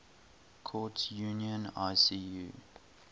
courts union icu